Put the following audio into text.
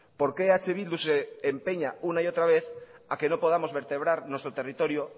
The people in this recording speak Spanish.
por qué eh bildu se empeña una y otra vez a que no podamos vertebrar nuestro territorio